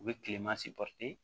U bɛ tileman se